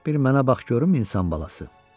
Bir mənə bax görüm insan balası.